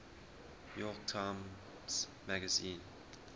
york times magazine